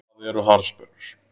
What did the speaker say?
Hvað eru harðsperrur?